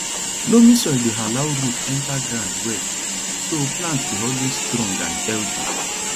loamy soil dey allow root enter ground well so plant dey always strong and healthy